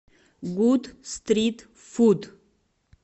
гуд стрит фуд